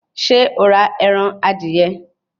Ṣé o ra ẹran adìyẹ